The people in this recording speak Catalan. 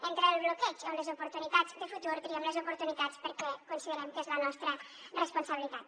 entre el bloqueig o les oportunitats de futur triem les oportunitats perquè considerem que és la nostra responsabilitat